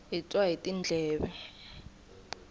hi twa hi tindleve